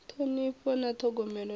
ṱhonifho na ṱhogomelo a hu